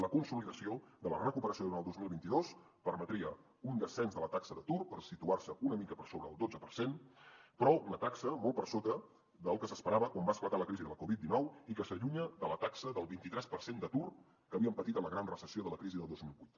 la consolidació de la recuperació durant el dos mil vint dos permetria un descens de la taxa d’atur per situar se una mica per sobre del dotze per cent però una taxa molt per sota del que s’esperava quan va esclatar la crisi de la covid dinou i que s’allunya de la taxa del vint tres per cent d’atur que havíem patit en la gran recessió de la crisi de dos mil vuit